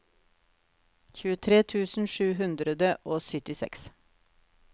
tjuetre tusen sju hundre og syttiseks